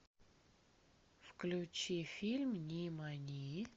включи фильм нимани